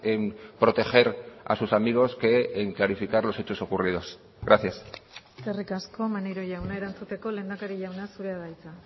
en proteger a sus amigos que en clarificar los hechos ocurridos gracias eskerrik asko maneiro jauna erantzuteko lehendakari jauna zurea da hitza